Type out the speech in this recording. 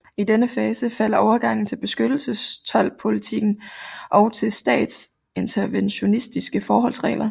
I denne fase falder overgangen til beskyttelsestoldpolitikken og til statsinterventionistiske forholdsregler